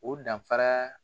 O danfara